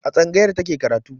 A tsangayar ta ke karatu.